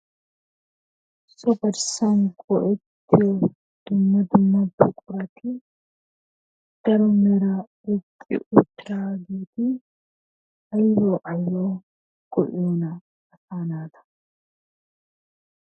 So garssan go"ettiyo dumma dumma buqurati daro mera oyqqi uttiraageeti aybbaw aybbaw go"iyoona asaa naata?